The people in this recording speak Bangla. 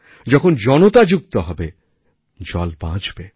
যখন জনতা যুক্ত হবে জল বাঁচবে